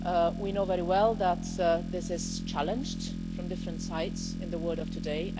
We know very well that this is challenged from different sides in the world of today.